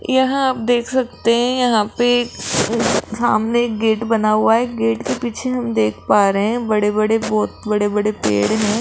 यहां आप देख सकते है यहां पे सामने एक गेट बना हुआ है गेट के पीछे हम देख पा रहे है बड़े बड़े बहोत बड़े बड़े पेड़ है।